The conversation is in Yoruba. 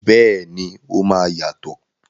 Bẹ́ẹ̀ni, o máa yàtọ̀.